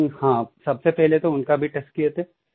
लेकिन हाँ सबसे पहले तो उनका भी टेस्ट किए थे